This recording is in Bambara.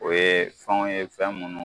O ye fɛnw ye fɛn minnu